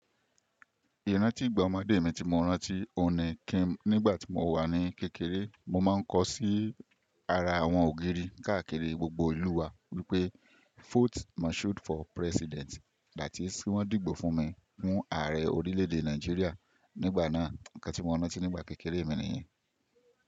Ìrántí ìgbà ọmọdé mi ti mo rántí ọ̀ni kìn-nígbà tí mo wà ní kékeré, mo máa ń kọ sí ara àwọn ògiri káàkiri gbogbo ìlú wa wípé vote Mashood for president, that is, kin wọ́n dìbò fún mi fún ààrẹ orílẹ̀ èdè Nàìjíríà nígbà náà. Ǹkan tí mo rántí nígbà kékeré mi nìyẹn.